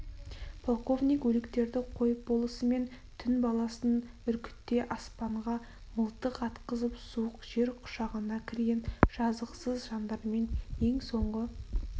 полковник өліктерді қойып болысымен түн баласын үркіте аспанға мылтық атқызып суық жер құшағына кірген жазықсыз жандармен ең соңғы